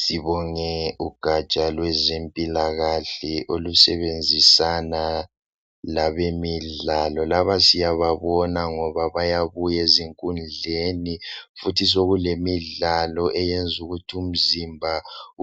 Sibonge ugatsha lwezempilakahle olusebenzisana labemidlalo. Laba siyababona ngoba bayabuya ezinkundleni futhi sokulemidlalo eyenza ukuthi umzimba